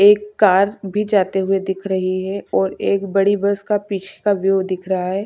एक कार भी जाते हुए दिख रही है और एक बड़ी बस का पीछे का व्यू दिख रहा है।